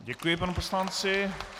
Děkuji panu poslanci.